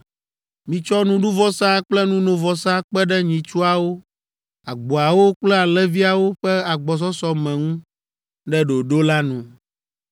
Mitsɔ nuɖuvɔsa kple nunovɔsa kpe ɖe nyitsuawo, agboawo kple alẽviawo ƒe agbɔsɔsɔ me ŋu ɖe ɖoɖo la nu.